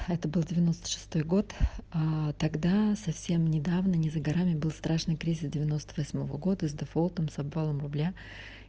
это был девяносто шестой год тогда совсем недавно не за горами был страшный кризис девяносто восьмого года с дефолтом с обвалом рубля